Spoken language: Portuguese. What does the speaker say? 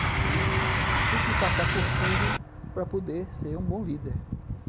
Então, tem que passar por tudo para poder ser um bom líder.